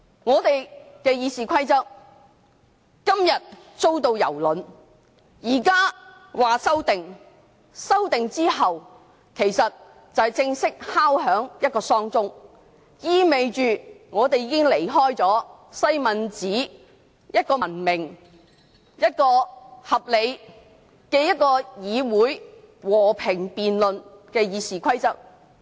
立法會的《議事規則》今天遭到蹂躪，修訂之後就是正式敲響喪鐘，意味着立法會已經離開了西敏寺文明、合理、和平辯論的議事方式。